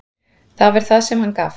Þar var það hann sem gaf.